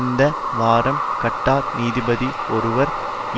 இந்த வாரம் கட்டார் நீதிபதி ஒருவர்